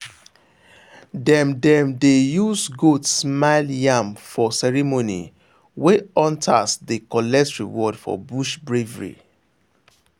dem dem dey use goat smile yam for ceremony wey hunters dey collect reward for bush bravery.